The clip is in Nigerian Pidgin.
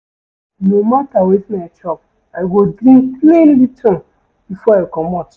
No mata wetin I chop, I go drink plain Lipton before I comot.